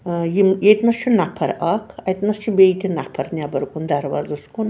.آیِم ییٚتۍنس چُھ نفراکھ اَتہِ نس چُھ بیٚیہِ تہِ نفرنٮ۪برکُن دروازس کُن